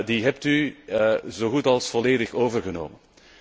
Die hebt u zo goed als volledig overgenomen.